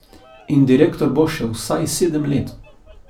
In direktor bo še vsaj sedem let.